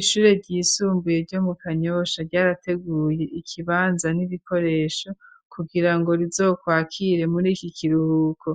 ishure ryisumbuye ryo mu Kanyosha ryarateguye ikibanza n'ibikoresho kugira ngo rizokwakire muri iki kiruhuko